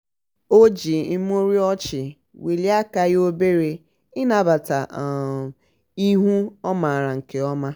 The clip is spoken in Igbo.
o ji imurimu ọchị welie aka ya obere ịnabata um ihu ọ maara nke ọma. um